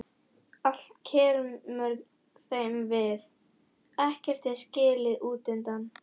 Allt kemur þeim við, ekkert er skilið útundan.